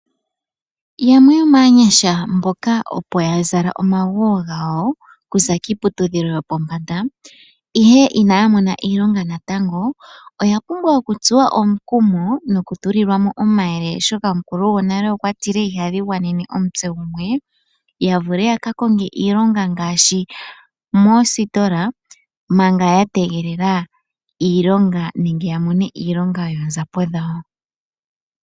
Yamwe yoomaanyasha mboka opo ya zala omaguwo gawo okuza kiiputudhilo yopombanda, ihe inaa mona iilonga natango, oya pumbwa oku tsuwa omukumo noku tulilwa mo omayele oshoka omukulu gonale okwa tile ihadhi gwanene omutse gumwe, ya vule ya ka konge iilonga ngaashi moositola manga ya tegelela iilonga nenge ya mone iilonga yoonzapo dhawo.